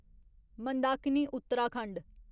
Mandakini Uttarakhand